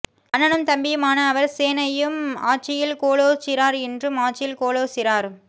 அண்ணனும் தம்பியும் ஆனஅவர் சேனையும் ஆட்சியில் கோலோச்சிறார் இன்றும் ஆட்சியில் கோலோச்சிறார்